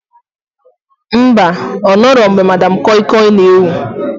Mba, ọ nọrọ mgbe Madam kọi kọi na ewu